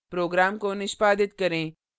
program को निष्पादित करें